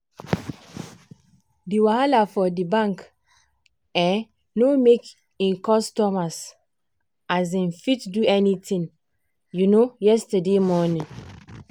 di wahala for di bank um no make e customers um fit do any tin um yesterday morning.